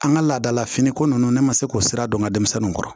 An ka laadala finiko ninnu ne ma se k'o sira dɔn n ka denmisɛnninw kɔrɔ